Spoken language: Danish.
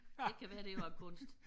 Det kan være det var kunst